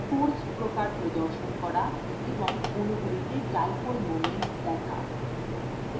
force প্রকার প্রদর্শন করা এবং অণুগুলিতে dipole moments দেখা